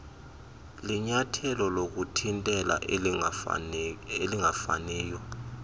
linyathelo lokuthintela elingafaniyo